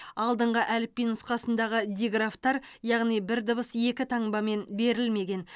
алдыңғы әліпби нұсқасындағы диграфтар яғни бір дыбыс екі таңбамен берілмеген